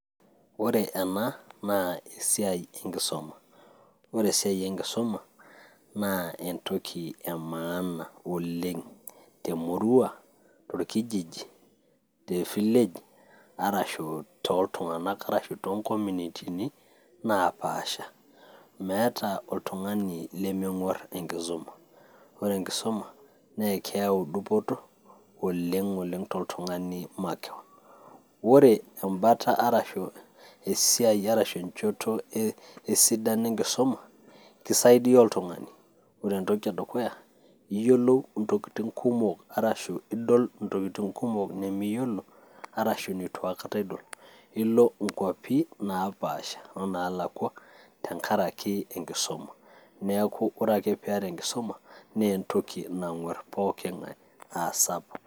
Ore ena, naa esiai enkisuma. Ore esiai enkisuma, naa entoki emaana oleng' temurua, torkijiji, tefilej arashu toltung'anak arashu tonkominitini napaasha. Meeta oltung'ani lemeng'uar enkisuma. Ore enkisuma, naa keyau dupoto oleng'oleng toltung'ani makeon. Ore ebata arashu esiai, arashu enchoto esidano enkisuma, kisaidia oltung'ani. Ore entoki edukuya, iyiolou intokiting' kumok arashu idol intokiting' kumok nimiyiolo, arashu neitu aikata idol. Nilo inkwapi napaasha onaalakwa, tenkaraki enkisuma. Neeku ore ake piata enkisuma, naa entoki nang'uar pooking'ae asapuk.